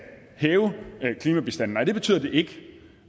hæve klimabistanden nej det betyder det ikke